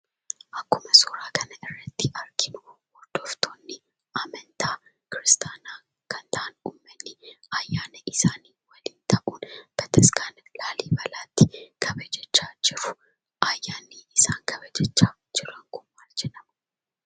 Akkuma suuraa kanarratti arginuu, hordoftoonni amantaa kiristaanaa kan ta'an uummanni ayyaana isaanii waliin ta'uun bataskaana laallibalaatti kabajachaa jiru. Ayyaanni isaan kabajachaa jiran kun maal jedhama?